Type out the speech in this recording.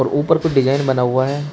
और ऊपर कुछ डिजाइन बना हुआ है।